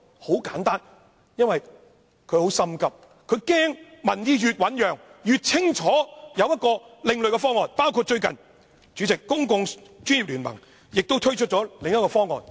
很簡單，因為她很着急，她害怕民意越醞釀，市民越清楚有另類的方案，包括最近由專家組成的公共專業聯盟亦推出另一項方案。